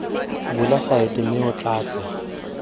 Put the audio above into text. bula saete mme o tlatse